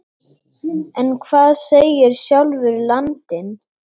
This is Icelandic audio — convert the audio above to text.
En hvað segir sjálfur landinn?